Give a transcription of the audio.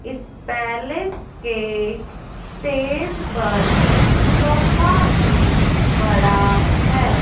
इस पैलेस के स्टेज पर सोफा भी पड़ा है।